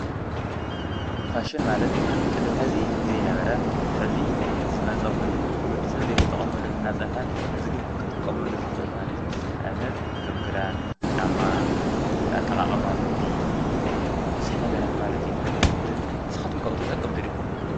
ፋሾን ማለት ቅድም ሕዚ ዘይነበረ ሕዚ ዝመጸ ኾይኑ ወድ ሰት ዘይተጠቐመሉ እናጸልሐ ሕዚ ግን ክትቆመሉ ዝኽእል ማለቲ ንኣብነት ከም ክዳን፣ ጫማ ፣ኣጠቓቐማ ምግቢ፣ ብዙኅ ነገራት ማለቲ ንስኻትኩምካዊ ተጠቀምቱድኹም?